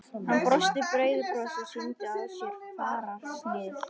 Hann brosti breiðu brosi og sýndi á sér fararsnið.